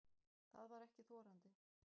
Það var ekki þorandi.